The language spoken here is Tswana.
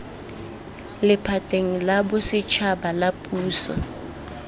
lephateng la bosetšhaba la puso